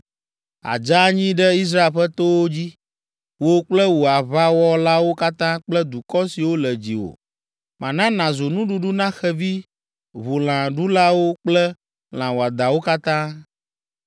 Àdze anyi ɖe Israel ƒe towo dzi, wò kple wò aʋawɔlawo katã kple dukɔ siwo le dziwò. Mana nàzu nuɖuɖu na xevi ʋulãɖulawo kple lã wɔadãwo katã.